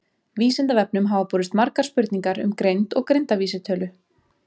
Vísindavefnum hafa borist margar spurningar um greind og greindarvísitölu.